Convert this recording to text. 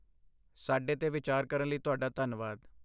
ਸਾਡੇ 'ਤੇ ਵਿਚਾਰ ਕਰਨ ਲਈ ਤੁਹਾਡਾ ਧੰਨਵਾਦ।